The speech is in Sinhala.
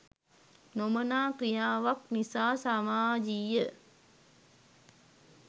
නොමනා ක්‍රියාවක් නිසා සාමාජීය